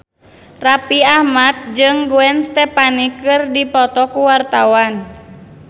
Raffi Ahmad jeung Gwen Stefani keur dipoto ku wartawan